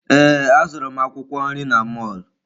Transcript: Ee, azụrụ m akwụkwọ nri n'mọlụ.